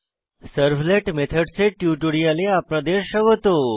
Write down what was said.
servlet methods এর টিউটোরিয়ালে আপনাদের স্বাগত